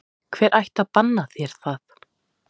Hver ætti að banna þér það?